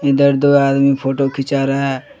इधर दो आदमी फोटो खींचा रहा है।